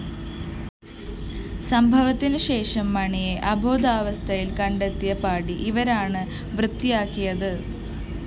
സംഭവത്തിനു ശേഷം മണിയെ അബോധാവസ്ഥയില്‍ കണ്ടെത്തിയ പാഡി ഇവരാണ് വൃത്തിയാക്കിയത്